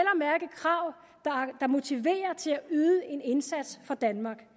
at motiverer til at yde en indsats for danmark